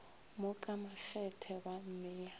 mo ka makgethe ba mmea